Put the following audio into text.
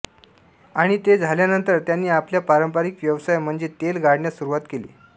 आणि ते झाल्यानंतर त्यांनी आपल्या पारंपरिक व्यवसाय म्हणजे तेल गाळण्यास सुरवात केली